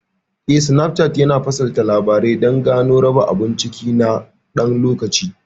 Eh, Snapchart yana fasalta Labarai dan Gano da raba abun ciki na ɗan lokaci.